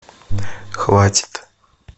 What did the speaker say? хватит